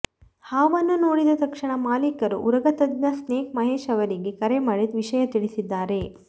ಹಾವನ್ನು ನೋಡಿದ ತಕ್ಷಣ ಮಾಲೀಕರು ಉರಗ ತಜ್ಞ ಸ್ನೇಕ್ ಮಹೇಶ್ ಅವರಿಗೆ ಕರೆ ಮಾಡಿ ವಿಷಯ ತಿಳಿಸಿದ್ದಾರೆ